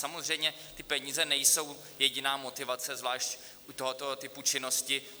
Samozřejmě ty peníze nejsou jediná motivace, zvlášť u tohoto typu činnosti.